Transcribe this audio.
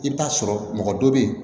I bɛ taa sɔrɔ mɔgɔ dɔ bɛ yen